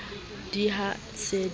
d i ha se a